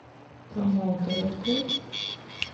промоутеры открой